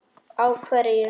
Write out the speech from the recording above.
Á hverju?